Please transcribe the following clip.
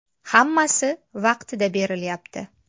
Hammasi vaqtida berilyapti.